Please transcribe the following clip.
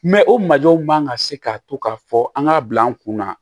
o majɔw man ka se ka to k'a fɔ an k'a bila an kunna